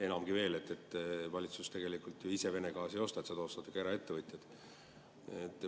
Enamgi veel, valitsus tegelikult ise Vene gaasi ei osta, seda ostavad ikkagi eraettevõtjad.